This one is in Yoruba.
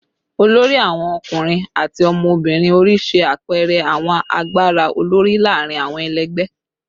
olori awon ọkunrin ati ọmọbirin ori ṣe apẹẹrẹ awọn agbara olori laarin awọn ẹlẹgbẹ